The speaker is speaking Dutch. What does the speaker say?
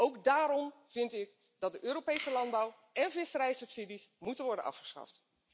Ook daarom vind ik dat de Europese landbouw én visserijsubsidies moeten worden afgeschaft.